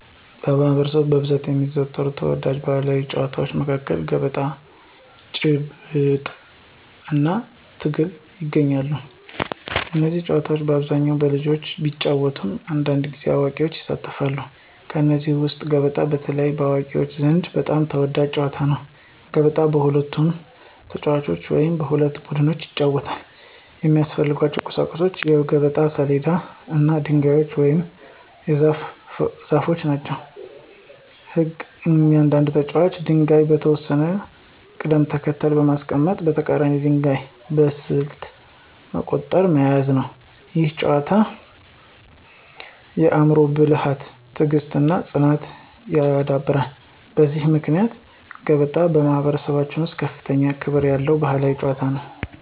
በማኅበረሰባችን ውስጥ በብዛት የሚዘወተሩ ተወዳጅ ባሕላዊ ጨዋታዎች መካከል ገበጣ፣ ጭብጥ (ድንጋይ መወርወር) እና ትግል ይገኛሉ። እነዚህ ጨዋታዎች በአብዛኛው በልጆች ቢጫወቱም አንዳንድ ጊዜ አዋቂዎችም ይሳተፋሉ። ከእነዚህ ውስጥ ገበጣ በተለይ በአዋቂዎች ዘንድ በጣም የተወደደ ጨዋታ ነው። ገበጣ በሁለት ተጫዋቾች ወይም በሁለት ቡድኖች ይጫወታል። የሚያስፈልጉት ቁሳቁሶች የገበጣ ሰሌዳ እና ድንጋዮች ወይም ዘሮች ናቸው። ሕጉ እያንዳንዱ ተጫዋች ድንጋዮቹን በተወሰነ ቅደም ተከተል በማንቀሳቀስ የተቀራኒውን ድንጋይ በስልት መርቆ መያዝ ነው። ይህ ጨዋታ የአእምሮ ብልሃትን፣ ትዕግሥትን እና ፅናትን ያዳብራል። በዚህ ምክንያት ገበጣ በማኅበረሰባችን ውስጥ ከፍተኛ ክብር ያለው ባሕላዊ ጨዋታ ነው።